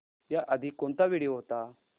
याआधी कोणता व्हिडिओ होता